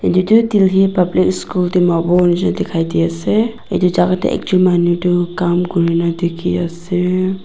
etu delhi public school dimapur dikhai di ase etu jaga de ekjun manu tu kam kurina diki ase.